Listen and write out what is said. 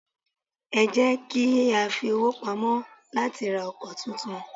Ẹ jẹ́ kiya fi owó pamọ́ láti ra ọkọ̀ tuntun.